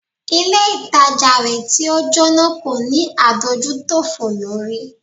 Ilé ìtajà rẹ̀ tí o Jóná kò ní adójútòfò lórí.